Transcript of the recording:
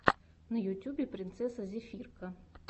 на ютюбе принцесса зефирка